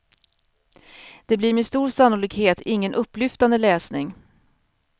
Det blir med stor sannolikhet ingen upplyftande läsning.